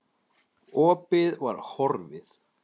Opið var horfið.